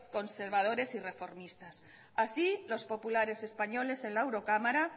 conservadores y reformistas así los populares españoles en la eurocámara